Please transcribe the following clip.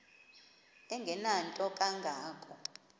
engenanto kanga ko